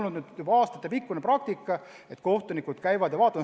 See on olnud aastatepikkune praktika, et kohtunikud käivad kohapeal.